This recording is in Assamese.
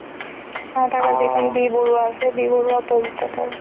তাতে যিখন বি বৰুৱা আছে তাৰ opposite ত তে